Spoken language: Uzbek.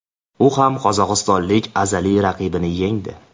U ham qozog‘istonlik azaliy raqibini yengdi.